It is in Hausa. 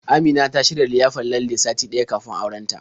Amina ta shirya liyafar lalle sati ɗaya kafin auren ta.